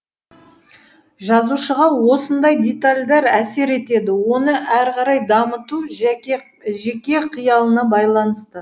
жазушыға осындай детальдар әсер етеді оны әрі қарай дамыту жеке қиялына байланысты